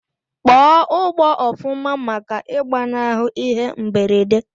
Kpọọ ugbọ ofuma maka igbanahu ihe mberede!!